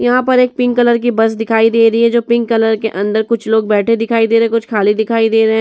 यहां पर एक पिंक कलर की बस दिखाई दे रही है जो पिंक कलर के अंदर कुछ लोग बैठे दिखाई दे रहे हैं कुछ खाली दिखाई दे रहे हैं।